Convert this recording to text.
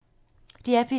DR P2